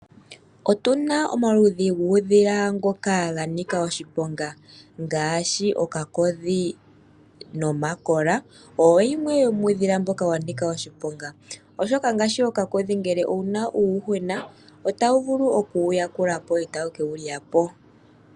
Otuna omaludhi guudhila mboka wanika oshiponga ngaashi ookakodhi nomakola owo yimwe womuudhila mboka wanika oshiponga. Ngashi ookakodhi ngeke owuna uundjuhwena otaya vulu okuwuyekulapo ee taye ke wulyapo.